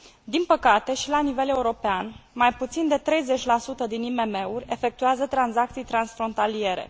Din păcate, și la nivel european, mai puțin de 30 din IMM uri efectuează tranzacții transfrontaliere.